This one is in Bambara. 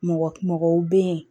Mɔgɔ mɔgɔw be yen